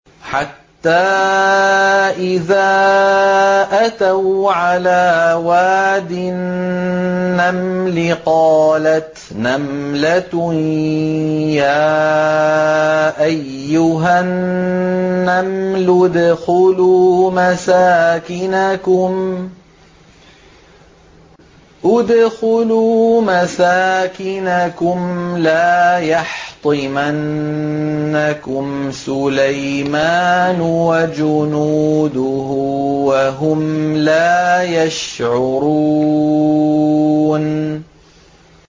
حَتَّىٰ إِذَا أَتَوْا عَلَىٰ وَادِ النَّمْلِ قَالَتْ نَمْلَةٌ يَا أَيُّهَا النَّمْلُ ادْخُلُوا مَسَاكِنَكُمْ لَا يَحْطِمَنَّكُمْ سُلَيْمَانُ وَجُنُودُهُ وَهُمْ لَا يَشْعُرُونَ